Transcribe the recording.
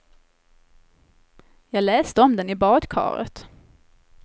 Jag läste om den i badkaret.